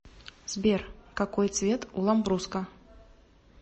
сбер какой цвет у ламбруско